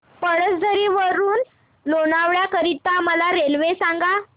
पळसधरी वरून ते लोणावळा करीता मला रेल्वे सांगा